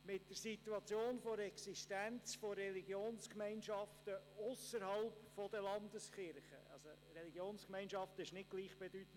Mit der Situation der Existenz von Religionsgemeinschaften ausserhalb der Landeskirchen kann eine Gesellschaft unterschiedlich umgehen.